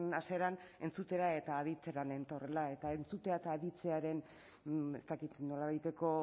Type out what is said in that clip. hasieran entzutera eta aditzera nentorrela eta entzutea eta aditzearen ez dakit nolabaiteko